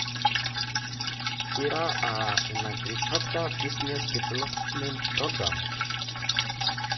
ire aaa In Aquaculture Business Development Programme (ABDP)